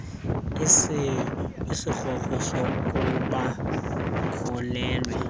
isikrokro sokuba ukhulelwe